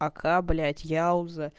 пока блять яуза